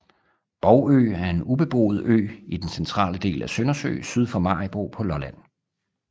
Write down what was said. Borgø er en ubeboet ø i den centrale del af Søndersø syd for Maribo på Lolland